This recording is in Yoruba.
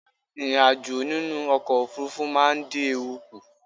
Ìrìn ajo nínú ọkọ̀ òfurufú ma n dí ewu kùn